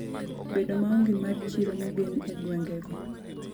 Bedo maonge mar chiro mogen e gwenge go.